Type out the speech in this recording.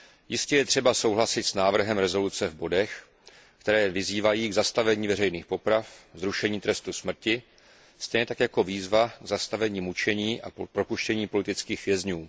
Jistě je třeba souhlasit s návrhem usnesení v bodech, které vyzývají k zastavení veřejných poprav, zrušení trestu smrti stejně jako k zastavení mučení a k propuštění politických vězňů.